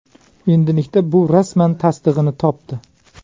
Endilikda bu rasman tasdig‘ini topdi.